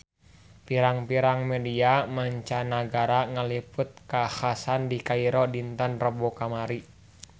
Pirang-pirang media mancanagara ngaliput kakhasan di Kairo dinten Rebo kamari